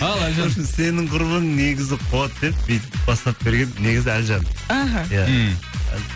ал әлжан сенің құрбың негізі куады деп бүйтіп бастап берген негізі әлжан іхі иә мхм